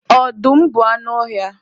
Ọdụm bụ anụ ọhịa.